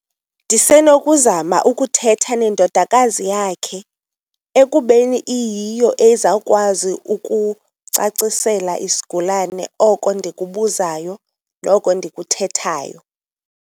Ndisenokuzama ukuthetha nendodakazi yakhe ekubeni iyiyo ezawukwazi ukucacisela isigulane oko ndikubuzayo noko ndikuthethayo.